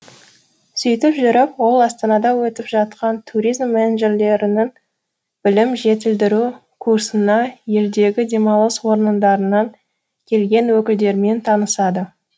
сөйтіп жүріп ол астанада өтіп жатқан туризм менеджерлерінің білім жетілдіру курсына елдегі демалыс орындарынан келген өкілдермен танысады